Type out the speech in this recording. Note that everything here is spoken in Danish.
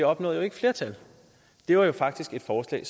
opnåede jo ikke flertal det var jo faktisk et forslag